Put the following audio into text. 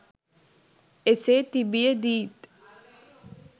එසේ තිබිය දී ත්